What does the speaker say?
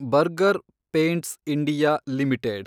burger Paints India limited